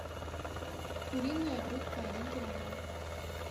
куриная грудка один килограмм